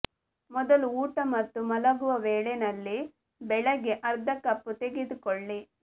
ಮೊದಲು ಊಟ ಮತ್ತು ಮಲಗುವ ವೇಳೆ ನಲ್ಲಿ ಬೆಳಿಗ್ಗೆ ಅರ್ಧ ಕಪ್ ತೆಗೆದುಕೊಳ್ಳಿ